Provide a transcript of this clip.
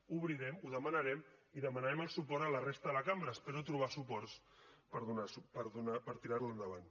obrirem ho demanarem i demanarem el suport a la resta de la cambra i espero trobar suports per tirar la endavant